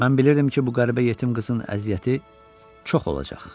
Mən bilirdim ki, bu qəribə yetim qızın əziyyəti çox olacaq.